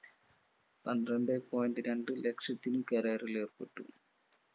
പന്ത്രണ്ടേ point രണ്ടുലക്ഷത്തിൽ കരാറിൽ ഏർപ്പെട്ടു.